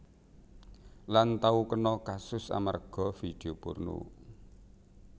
Lan tau kena kasus amarga vidio porno